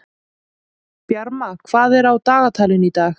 Bjarma, hvað er á dagatalinu í dag?